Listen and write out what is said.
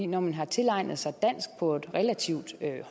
når man har tilegnet sig dansk på et relativt